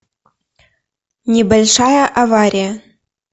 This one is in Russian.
небольшая авария